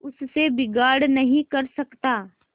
उससे बिगाड़ नहीं कर सकता